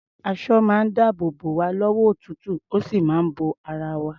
Aṣọ máa ń dáàbò bò wá lọ́wọ́ òtútù, ó sì ń bo ara wa.